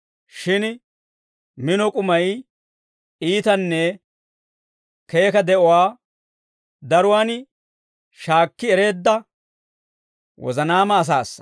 Shin mino k'umay iitanne keeka de'uwaa daruwaan shaakki ereedda wozanaama asaassa.